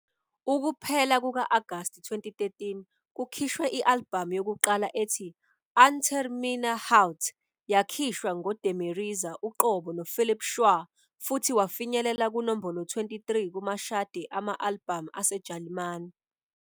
Ukuphela kuka-Agasti 2013 kukhishwe i-albhamu yokuqala ethi "Unter meiner Haut". Yakhishwa nguDemirezer uqobo noPhilip Schwär futhi wafinyelela kunombolo 23 kumashadi ama-albhamu aseJalimane.